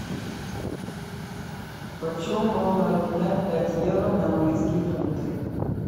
почем можно обменять пять евро на английские фунты